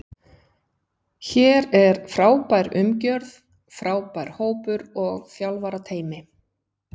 Hér er frábær umgjörð, frábær hópur og þjálfarateymi.